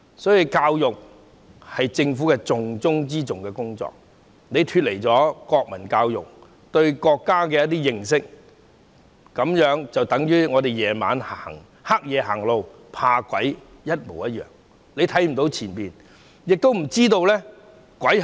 因此，教育是政府重中之重的工作，脫離了國民教育，缺乏對國家的認識，就等同在黑夜中走路害怕遇上鬼一樣，看不到前路，亦不知道鬼是甚麼。